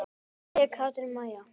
Kveðja, Katrín María.